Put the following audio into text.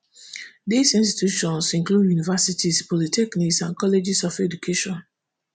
dis institutions include univeristies polytechnics and colleges of education